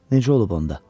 Necə olub onda?